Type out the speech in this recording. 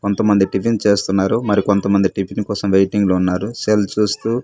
కొంతమంది టిఫిన్ చేస్తున్నారు మరి కొంతమంది టిఫిన్ కోసం వెయిటింగ్ లో ఉన్నారు సెల్ చూస్తూ--